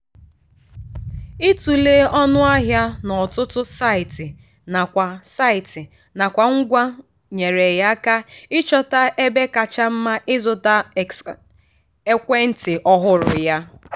ịtụle ọnụ ahịa n'ọtụtụ saịtị nakwa saịtị nakwa ngwa nyeere ya aka ịchọta ebe kacha mma ịzụta ekwentị ọhụrụ ya.